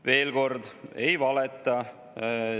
Veel kord: ei valeta.